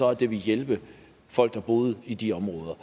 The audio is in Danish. at det ville hjælpe folk der boede i de områder